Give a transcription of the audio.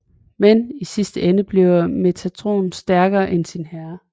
Men i sidste ende bliver Metatron stærkere end sin herre